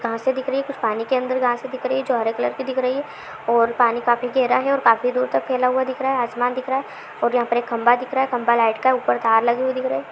घासें दिख रही है कुछ पानी के अंदर घासें दिख रही है जो हरे कलर की दिख रही है और पानी काफी गहरा है और काफी दूर तक फैला हुआ दिख रहा है आसमान दिख रहा है और यहां पर एक खंभा दिख रहा है खंभा लाइट का है ऊपर तार लगी हुई दिख रही।